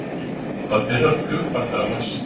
Hvað pirrar flugfarþega mest